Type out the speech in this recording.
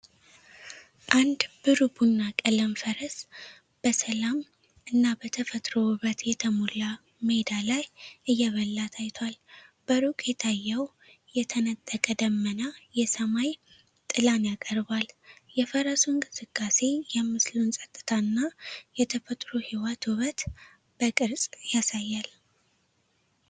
አንድ ብሩህ ቡና ቀለም ፈረስ በሰላም እና በተፈጥሮ ውበት የተሞላ ሜዳ ላይ እየበላ ታይቷል። በሩቅ የታየው የተነጠቀ ደመና የሰማይ ጥላን ያቀርባል። የፈረሱ እንቅስቃሴ የምስሉን ጸጥታ እና የተፈጥሮ ህይወት ውበት በቅርጽ ያሳያል።